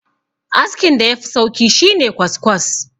askin da ya Fi sauki shi ne kwaskwas